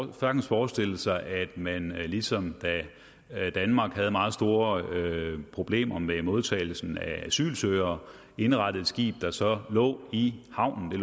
jo sagtens forestille sig at man ligesom da danmark havde meget store problemer med modtagelsen af asylsøgere indrettede et skib der så lå i havnen i